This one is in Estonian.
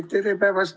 Tere päevast!